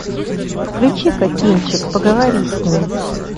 включи ка кинчик поговори с ней